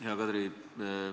Hea Kadri!